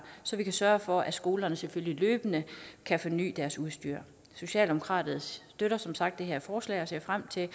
så vi kan sørge for at skolerne selvfølgelig løbende kan forny deres udstyr socialdemokratiet støtter som sagt det her forslag og ser frem til